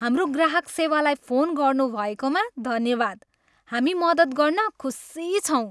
हाम्रो ग्राहक सेवालाई फोन गर्नुभएकोमा धन्यवाद। हामी मद्दत गर्न खुसी छौँ।